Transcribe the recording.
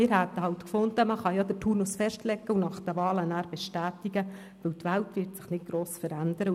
Wir hätten es gut gefunden, den Turnus festzulegen und ihn nach den Wahlen zu bestätigen, weil die Welt sich inzwischen nicht gross verändern würde.